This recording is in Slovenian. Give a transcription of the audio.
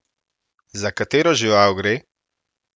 Za katero žival gre?